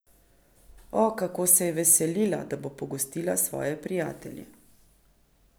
O, kako se je veselila, da bo pogostila svoje prijatelje.